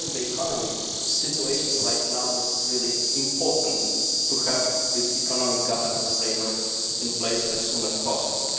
Given the current economic situation it is really important to have this economic governance framework in place as soon as possible.